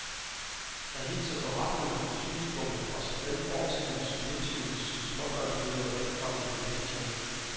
Jeg hilser beretninger og synspunkter fra såvel fortidens som nutidens småbørnsmødre velkommen i aviserne.